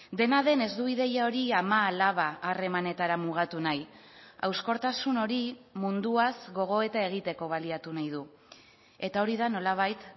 dena den ez du ideia hori ama alaba harremanetara mugatu nahi hauskortasun hori munduaz gogoeta egiteko baliatu nahi du eta hori da nolabait